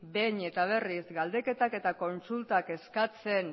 behin eta berriz galdeketak eta kontsultak eskatzen